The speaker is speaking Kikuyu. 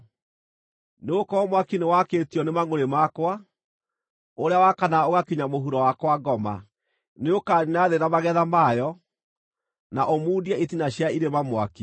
Nĩ gũkorwo mwaki nĩwakĩtio nĩ mangʼũrĩ makwa, ũrĩa wakanaga ũgakinya mũhuro wa kwa ngoma. Nĩũkaniina thĩ na magetha mayo, na ũmundie itina cia irĩma mwaki.